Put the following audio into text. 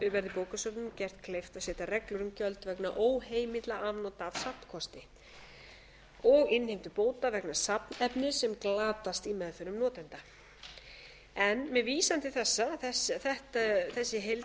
verði bókasöfnum gert kleift að setja reglur um gjöld vegna óheimilla afnota af safnkosti og innheimtu bóta vegna safnefnis sem glatast í meðförum notenda með vísan til þessa að þessi heildarlög